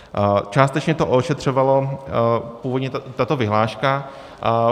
Částečně to ošetřovala původně tato vyhláška.